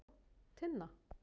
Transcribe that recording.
Tinna